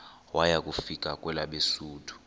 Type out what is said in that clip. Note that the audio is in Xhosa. waya kufika kwelabesuthu